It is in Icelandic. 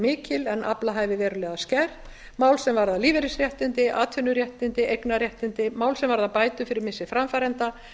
mikil en aflahæfi verulega skert mál sem varða lífeyrisréttindi atvinnuréttindi eignarréttindi mál sem varða bætur fyrir missi framfæranda